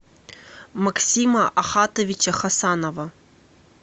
максима ахатовича хасанова